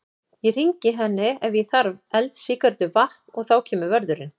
Ég hringi henni ef ég þarf eld, sígarettu, vatn. og þá kemur vörðurinn.